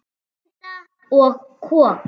Vélinda og kok